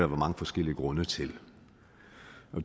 mange forskellige grunde til